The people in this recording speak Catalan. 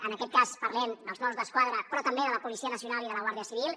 en aquest cas parlem dels mossos d’esquadra però també de la policia nacional i de la guàrdia civil